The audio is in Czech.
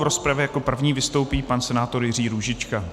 V rozpravě jak první vystoupí pan senátor Jiří Růžička.